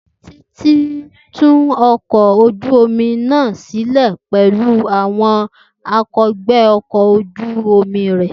Titi ń tú ọkọ̀ ojú omi náà sílẹ̀ pẹ̀lú àwọn akẹgbẹ ọkọ̀ ojú omi rẹ.